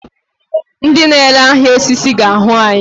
Ndị na-ere ahịa osisi ga-ahụ anyị.